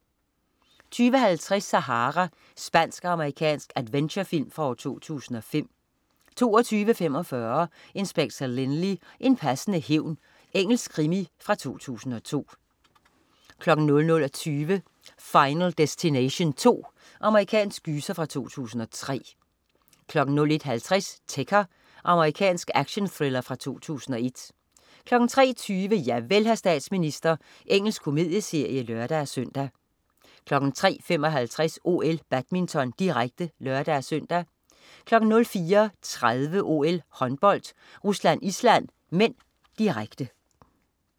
20.50 Sahara. Spansk-amerikansk adventure-film fra 2005 22.45 Inspector Lynley. En passende hævn. Engelsk krimi fra 2002 00.20 Final Destination 2. Amerikansk gyser fra 2003 01.50 Ticker. Amerikansk actionthriller fra 2001 03.20 Javel, hr. statsminister. Engelsk komedieserie (lør-søn) 03.55 OL: Badminton, direkte (lør-søn) 04.30 OL: Håndbold. Rusland-Island (m), direkte